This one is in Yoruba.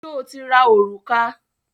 Sọ ti ra òrùka?